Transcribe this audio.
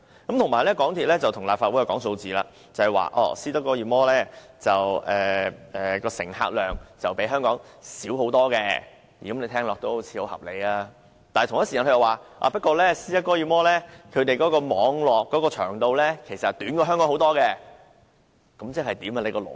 此外，港鐵公司又跟立法會講數字，說斯德哥爾摩的乘客量遠較香港小，聽起來好像很合理，但它同一時間又說，不過斯德哥爾摩的網絡長度遠較香港短，那即是甚麼？